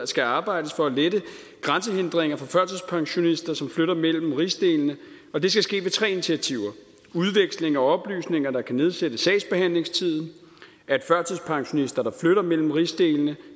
skal arbejdes for at lette grænsehindringer for førtidspensionister som flytter mellem rigsdelene og det skal ske ved tre initiativer udveksling af oplysninger der kan nedsætte sagsbehandlingstiden at førtidspensionister der flytter mellem rigsdelene